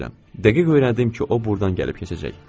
Dəqiq öyrəndim ki, o burdan gəlib keçəcək.